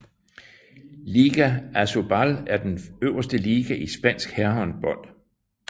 Liga ASOBAL er den øverste liga i spansk herrehåndbold